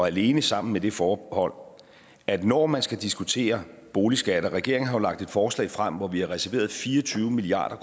alene sammen med det forbehold at når man skal diskutere boligskatter og regeringen har jo lagt et forslag frem hvor vi har reserveret fire og tyve milliard